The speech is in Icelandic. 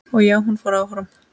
Og já, hún fór áfram!!